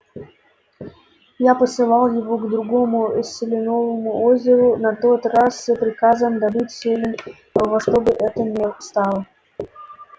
я посылал его к другому селеновому озеру на тот раз с приказом добыть селен во что бы то ни стало